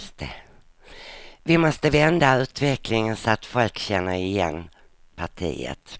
Vi måste vända utvecklingen så att folk känner igen partiet.